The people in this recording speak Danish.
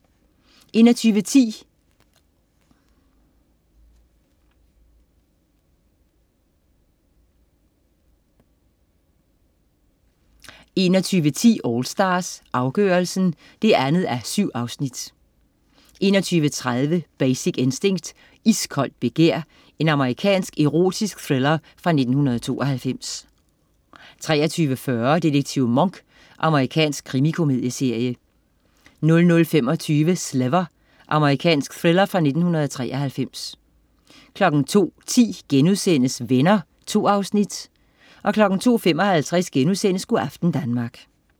21.10 AllStars, afgørelsen 2:7 21.30 Basic Instinct. Iskoldt begær. Amerikansk erotisk thriller fra 1992 23.40 Detektiv Monk. Amerikansk krimikomedieserie 00.25 Sliver. Amerikansk thriller fra 1993 02.10 Venner.* 2 afsnit 02.55 Go' aften Danmark*